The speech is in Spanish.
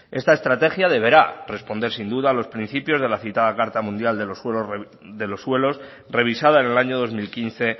esta estrategia deberá responder sin duda los principios de la citada carta mundial de los suelos revisada en el año dos mil quince